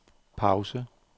pause